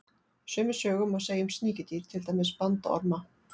Sömu sögu má segja um sníkjudýr, til dæmis bandorma.